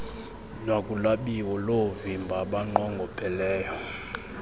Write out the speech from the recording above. nakulwabiwo loovimba abanqongopheleyo